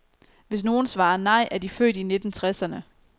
Hvis nogen svarer nej, er de født i nitten tresserne.